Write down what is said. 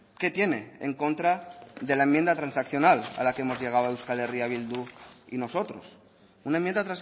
qué tiene en contra de la enmienda transaccional a la que hemos llegado euskal herria bildu y nosotros una enmienda